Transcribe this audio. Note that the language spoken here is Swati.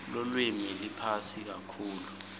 lulwimi liphasi kakhulu